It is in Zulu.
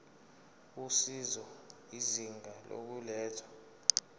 usizo izinga lokulethwa